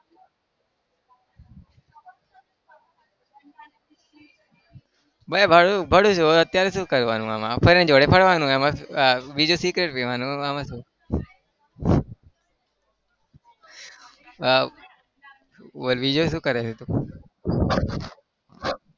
બે ભણું છુ ભણું છુ હવે અત્યારે શું કરવાનું આમાં? friend જોડે ફરવાનું એમાં બીજું cigarette આમાં શું. આહ બોલ બીજું શું કરે છે તું?